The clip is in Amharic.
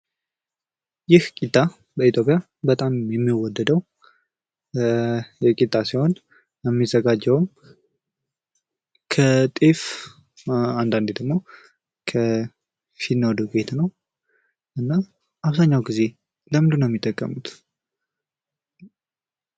ይህ ቂጣ በኢትዮጵያ በጣም የሚወደደው ቂጣ ሲሆን የሚዘጋጀውም ከጤፍ አንዳንዴ ደግሞ ከፊኖ ዱቄት ነው። እና አብዛኛው ጊዜ ለምንድነው ሚጠቀሙት?